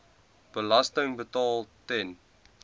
belasting betaal ten